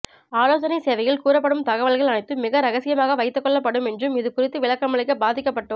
ஆலோசனை சேவையில் கூறப் படும் தகவல்கள் அனைத்தும் மிக ரகசியமாக வைத்துக்கொள்ளப் படும் என்றும் இது குறித்து விளக்கமளிக்க பாதிக்கப்பட்டோ